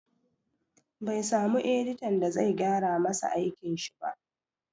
Bai samu editan da zai gyara masa aikin shi ba